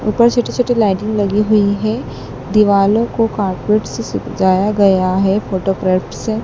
ऊपर छोटी-छोटी लाइटिंग लगी हुई है। दिवालों को कारपेट से सजाया गया है फोटो क्रेप से।